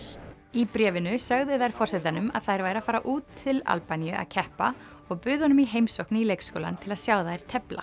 í bréfinu sögðu þær forsetanum að þær væru að fara út til Albaníu að keppa og buðu honum í heimsókn í leikskólann til að sjá þær tefla